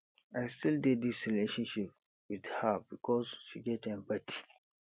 i still dey dis relationship wit her because she get empathy